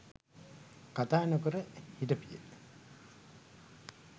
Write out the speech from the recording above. කතා නොකර හිටපිය.